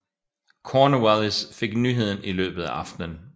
Cornwallis fik nyheden i løbet af aftenen